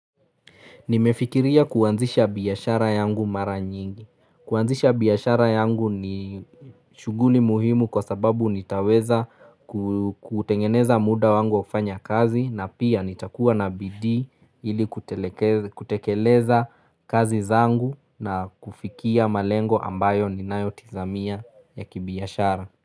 Nimefikiria kuanzisha biashara yangu mara nyingi. Kuanzisha biyashara yangu ni shuguli muhimu kwa sababu nitaweza kutengeneza muda wangu wa kufanya kazi na pia nitakuwa na bidii ili kutekeleza kazi zangu na kufikia malengo ambayo ninayotizamia ya kibiashara.